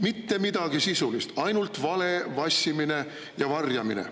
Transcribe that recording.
Mitte midagi sisulist – ainult vale, vassimine ja varjamine.